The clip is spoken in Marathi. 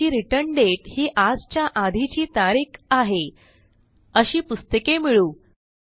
ज्यांची रिटर्न दाते ही आजच्या आधीची तारीख आहे अशी पुस्तके मिळवू